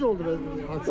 Necə oldu hadisə?